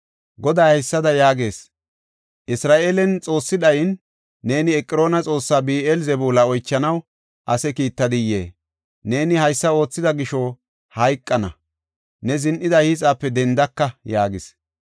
“Goday haysada yaagees; ‘Isra7eelen Xoossi dhayine, neeni Eqroona xoossaa Bi7eel-Zebuula oychanaw ase kiittiday? Neeni haysa oothida gisho, hayqana! Ne zin7ida hiixape dendaka’ ” yaagees.